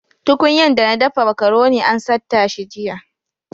Tuƙunyan dana daffa macaroni an satta shi jiya.